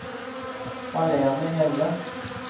Malene Hjelle